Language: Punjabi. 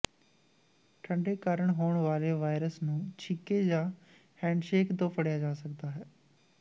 ਠੰਡੇ ਕਾਰਨ ਹੋਣ ਵਾਲੇ ਵਾਇਰਸ ਨੂੰ ਛਿੱਕੇ ਜਾਂ ਹੈਂਡਸ਼ੇਕ ਤੋਂ ਫੜਿਆ ਜਾ ਸਕਦਾ ਹੈ